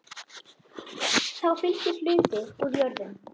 Þá fylgir hluti úr jörðum.